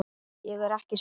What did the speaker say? Ég er ekki sek.